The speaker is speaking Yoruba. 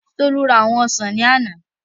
Tolú ra àwọn ọsàn ní àná